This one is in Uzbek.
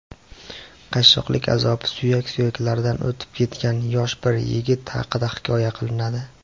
qashshoqlik azobi suyak-suyaklaridan o‘tib ketgan yosh bir yigit haqida hikoya qilinadi.